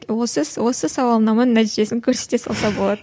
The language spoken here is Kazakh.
осы осы сауалнама нәтижесін көрсете салса болады